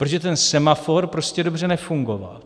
Protože ten semafor prostě dobře nefungoval.